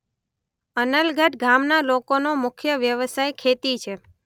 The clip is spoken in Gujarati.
અનલગઢ ગામના લોકોનો મુખ્ય વ્યવસાય ખેતી છે.